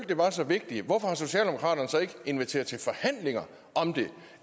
det var så vigtigt hvorfor har socialdemokraterne så ikke inviteret til forhandlinger om det